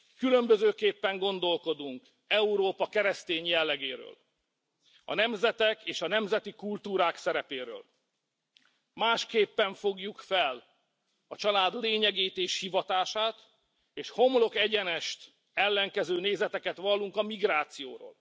Különbözőképpen gondolkodunk Európa keresztény jellegéről, a nemzetek és a nemzeti kultúrák szerepéről, másképpen fogjuk fel a család lényegét és hivatását, és homlokegyenest ellenkező nézeteket vallunk a migrációról.